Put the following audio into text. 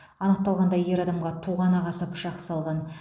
анықталғандай ер адамға туған ағасы пышақ салған